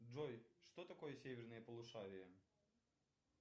джой что такое северное полушарие